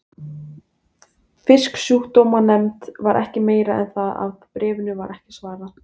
Fisksjúkdómanefnd var ekki meiri en það að bréfinu var ekki svarað.